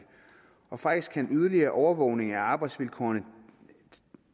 og faktisk kan yderligere overvågning af arbejdsvilkårene